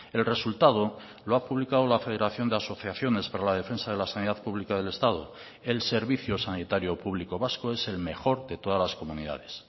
el resultado lo ha publicado la federación de asociaciones para la defensa de la sanidad pública del estado el servicio sanitario público vasco es el mejor de todas las comunidades